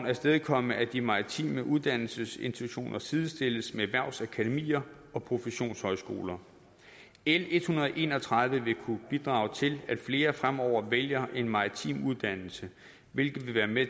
afstedkomme at de maritime uddannelsesinstitutioner sidestilles med erhvervsakademier og professionshøjskoler l en hundrede og en og tredive vil kunne bidrage til at flere fremover vælger en maritim uddannelse hvilket vil være med